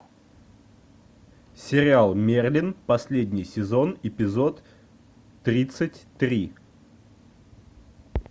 сериал мерлин последний сезон эпизод тридцать три